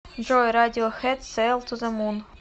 джой радиохед сейл ту зе мун